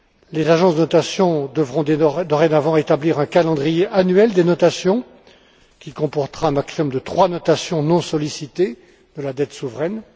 Les agences de notations devront dorénavant établir un calendrier annuel des notations, qui comportera un maximum de trois notations non sollicitées de la dette souveraine.